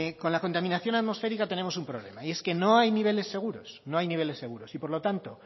con la contaminación atmosférica tenemos un problema y es que no hay niveles seguros no hay niveles seguros y por lo tanto